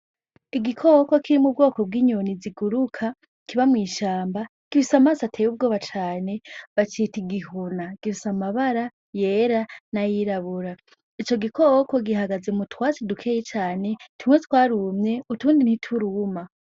Igikoko kiri mu bwoko bw’inyoni ziguruka, kiba mu ishamba, gifise amaso ateye ubwoba cane, bacita igihuna. Gifise amabara y’era na y’irabura. Ico gikoko gihagaze mu twatsi dukeyi cane, tumwe twarumye, utundi nti turuma.